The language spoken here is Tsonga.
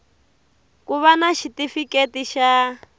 ku va na xitifiketi xa